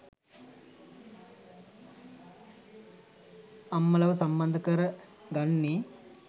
අම්මලව සම්බන්ද කර ගන්නේ.